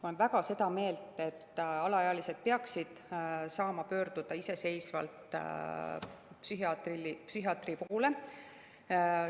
Ma olen väga seda meelt, et alaealised peaksid saama pöörduda iseseisvalt psühhiaatri poole.